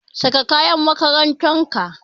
Saka kayan makarantar ka!